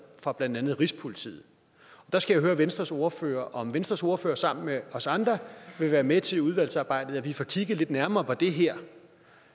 fra blandt andet rigspolitiet der skal jeg høre venstres ordfører om venstres ordfører sammen med os andre vil være med til i udvalgsarbejdet at få kigget lidt nærmere på det her